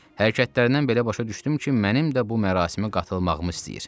Hərəkətlərindən belə başa düşdüm ki, mənim də bu mərasimə qatılmağımı istəyir.